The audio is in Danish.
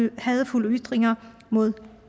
og hadefulde ytringer mod